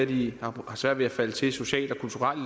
de har svært ved at falde til socialt og kulturelt